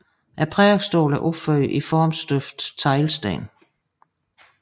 Prædikestolen er opført i formstøbte teglsten